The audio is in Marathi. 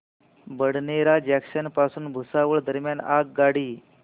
बडनेरा जंक्शन पासून भुसावळ दरम्यान आगगाडी